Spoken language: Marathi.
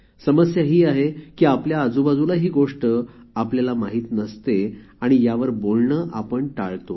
समस्या ही आहे की आपल्या आजूबाजूला ही गोष्ट आपल्याला माहीत नसते आणि यावर बोलणे आपण टाळतो